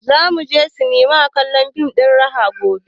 Za mu sinema kallon fim ɗin raha gobe